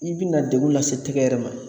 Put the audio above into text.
I bi na degun lase tɛgɛ yɛrɛ ma.